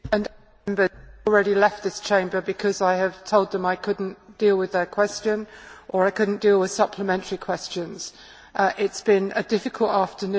Members have already left this Chamber because I have told them I could not deal with their question or I could not deal with supplementary questions. It has been a difficult afternoon.